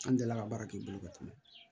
An delila ka baara kɛ i bolo ka tɛmɛ